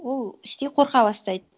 ол іштей қорқа бастайды